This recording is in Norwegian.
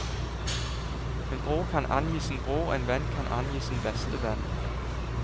En bror kan angi sin bror, en venn kan angi sin beste venn.